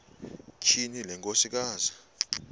tyhini le nkosikazi